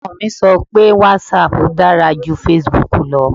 Ọmọ mi sọ pé whatsapp dára ju facebook lọ